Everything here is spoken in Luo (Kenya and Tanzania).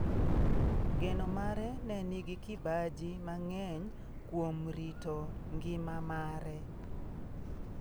Gedo mare ne nigi kibaji mang'eny kuom rito ngima mare.